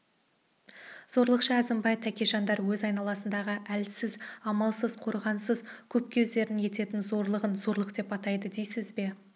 зорлықшы әзімбай тәкежандар өз айналасындағы әлсіз амалсыз қорғансыз көпке өздері ететін зорлығын зорлық деп атайды дейсіз бе